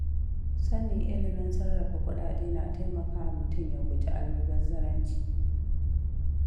Sanin ilimin sarrafa kuɗaɗe na taimakawa mutum ya guji almubazzaranci.